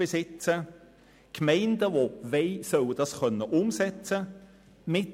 Gemeinden, die dies wollen, sollen die Umsetzung angehen können.